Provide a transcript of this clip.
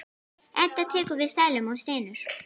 Edda tekur við seðlunum og stynur.